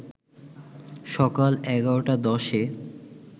সকাল ১১.১০ এ